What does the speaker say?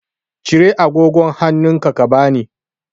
Cire agogon hannunka ka bani.